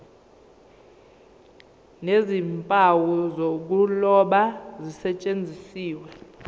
nezimpawu zokuloba zisetshenziswe